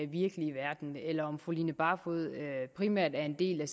virkelige verden eller om fru line barfod primært er en del af